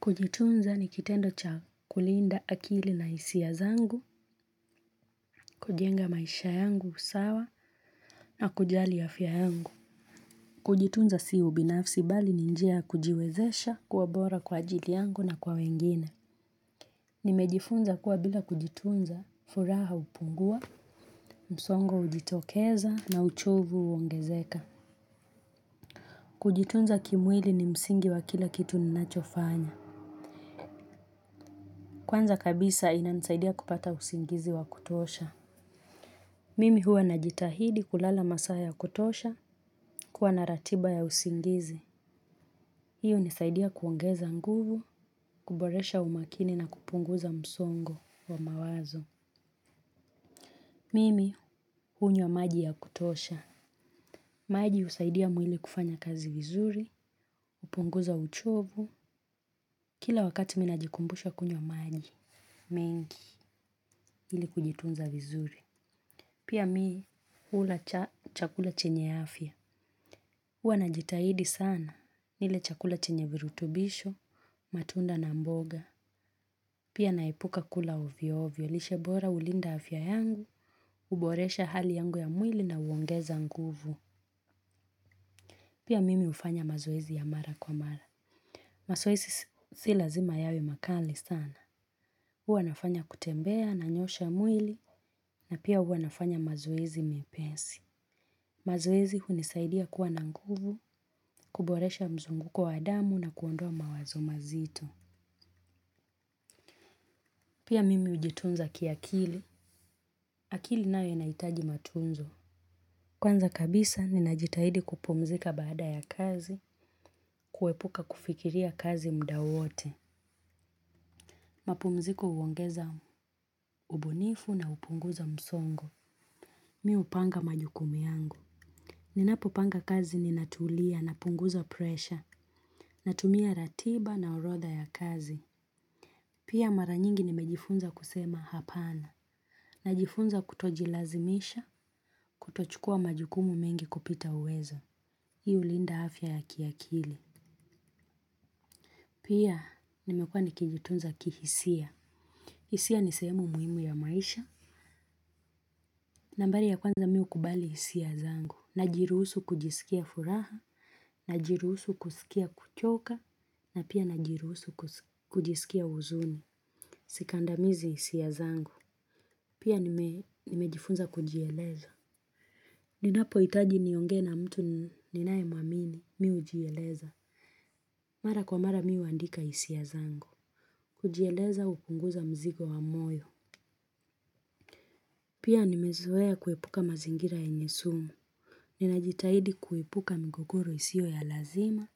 Kujitunza ni kitendo cha kulinda akili na hisia zangu, kujenga maisha yangu usawa na kujali ya afya yangu. Kujitunza si ubinafsi bali ninjia ya kujiwezesha kuwa bora kwa ajili yangu na kwa wengine. Nimejifunza kuwa bila kujitunza, furaha hupungua, msongo ujitokeza na uchovu uongezeka. Kujitunza kimwili ni msingi wa kila kitu ninachofanya. Kwanza kabisa inani saidia kupata usingizi wa kutosha. Mimi huwa na jitahidi kulala masaa ya kutosha kuwa na ratiba ya usingizi. Hiyo nisaidia kuongeza nguvu, kuboresha umakini na kupunguza msongo wa mawazo. Mimi unywa maji ya kutosha. Maji husaidia mwili kufanya kazi vizuri, hupunguza uchovu. Kila wakati mimi najikumbusha kunywa maji, mengi ili kujitunza vizuri. Pia mimi huula chakula chenye afya. Uwa na jitahidi sana, nile chakula chenye virutubisho, matunda na mboga, pia naepuka kula ovyo ovyo, lishe bora hulinda afya yangu, uboresha hali yangu ya mwili na uongeza nguvu. Pia mimi hufanya mazoezi ya mara kwa mara. Mazoezi si lazima yawe makali sana. Uwa nafanya kutembea, nanyosha mwili, na pia uwa nafanya mazoezi mepesi. Mazoezi hunisaidia kuwa na nguvu, kuboresha mzunguko wa damu na kuondoa mawazo mazito. Pia mimi hujitunza kiakili. Akili nayo inahitaji matunzo. Kwanza kabisa, ninajitahidi kupumzika baada ya kazi, kuepuka kufikiria kazi mda wote. Mapumziko huongeza ubunifu na upunguza msongo. Mimi hupanga majukumu yangu. Ninapopanga kazi ninatulia na punguza presha. Natumia ratiba na orodha ya kazi. Pia mara nyingi nimejifunza kusema hapana. Najifunza kutojilazimisha, kutochukua majukumu mengi kupita uwezo. Hii hulinda afya ya kiakili. Pia nimekua nikijitunza kihisia. Hisia nisehemu muhimu ya maisha. Nambari ya kwanza mimi hukubali hisia zangu. Najiruhusu kujisikia furaha, najiruhusu kusikia kuchoka, na pia najiruhusu kujisikia huzuni. Sikandamizi hisia zangu. Pia nimejifunza kujieleza. Ninapo hitaji niongee na mtu ninae muamini. Mimi ujieleza. Mara kwa mara mimi huandika hisia zangu. Kujieleza hupunguza mzigo wa moyo. Pia nimezoea kuepuka mazingira yenye sumu. Ninajitahidi kuepuka migogoro isio ya lazima